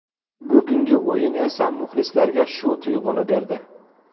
Bugungi o‘yin esa muxlislarga shu tuyg‘uni berdi.